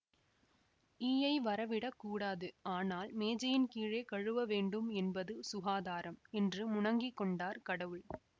ஈயை வரவிடக்கூடாது ஆனால் மேஜையின் கீழே கழுவ வேண்டும் என்பது சுகாதாரம் என்று முனங்கிக் கொண்டார் கடவுள்